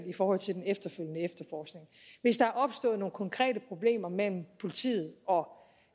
i forhold til den efterfølgende efterforskning hvis der er opstået nogle konkrete problemer mellem politiet og